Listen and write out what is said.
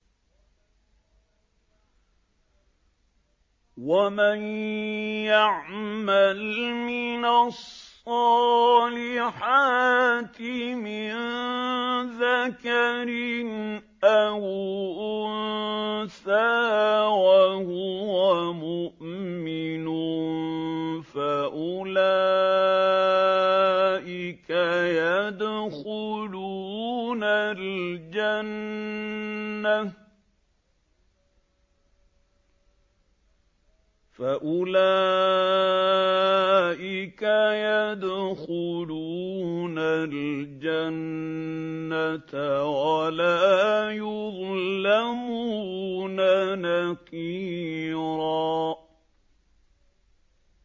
وَمَن يَعْمَلْ مِنَ الصَّالِحَاتِ مِن ذَكَرٍ أَوْ أُنثَىٰ وَهُوَ مُؤْمِنٌ فَأُولَٰئِكَ يَدْخُلُونَ الْجَنَّةَ وَلَا يُظْلَمُونَ نَقِيرًا